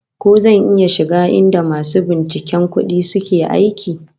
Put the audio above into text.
Ko zan iya shiga inda masu binciken kudi suke aiki?